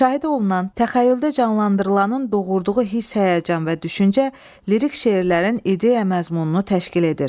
Müşahidə olunan, təxəyyüldə canlandırılanın doğurduğu hiss, həyəcan və düşüncə lirik şeirlərin ideya məzmununu təşkil edir.